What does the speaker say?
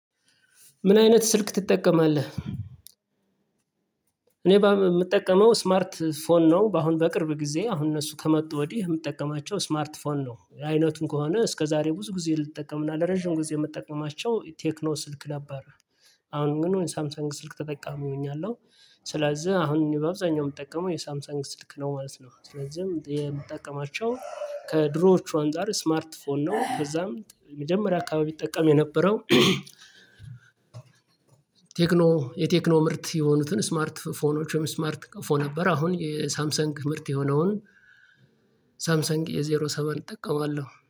ምን አይነት ስልክ ትጠቀማለህ እኔ ባምጠቀመው ስማርት ፎን ነው አሁን በቅርብ ጊዜ አሁን እነሱ ከመጡ ወዲህ የምጠቀማቸው ስማርት ፎን ነው አይነቱን ከሆነ እስከ ዛሬ ብዙ ጊዜ ልጠቀምና ለረጅም ጊዜ የምጠቀማቸው ቴክኖ ስልክ ነበር አሁን ግን ሳምሳንግ ስልክ ተጠቃሚ እሆኛለሁ ስለዚህ አሁን በአብዛኛው የምጠቀመው የሳምሰንግ ስልክ ነው ማለት ነው ስለዚህም የምጠቀማቸው ከድሮዎቹ አንፃር ስማርት ፎን ነው ከዛም የመጀመሪያ አካባቢ እጠቀም የነበረው ቴክኖ የቴክኖ ምርት የሆኑትን ስማርት ፎኖችም ስማርት ቀፎን ነበር አሁን የሳምሰንግ ምርት የሆነውን ሳምሰንግ ኤዜሮ ሰቨን እጠቀማለሁ።